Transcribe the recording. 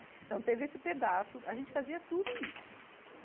Então teve esse pedaço, a gente fazia tudo isso.